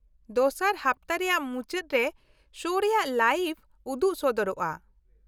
ᱫᱚᱥᱟᱨ ᱦᱟᱯᱛᱟ ᱨᱮᱭᱟᱜ ᱢᱩᱪᱟ.ᱫ ᱨᱮ ᱥᱳ ᱨᱮᱭᱟᱜ ᱞᱟᱭᱤᱵᱷ ᱩᱫᱩᱜ ᱥᱚᱫᱚᱨᱚᱜᱼᱟ ᱾